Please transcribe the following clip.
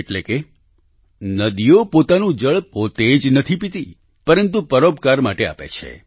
એટલે કે નદીઓ પોતાનું જળ પોતે જ નથી પીતી પરંતુ પરોપકાર માટે આપે છે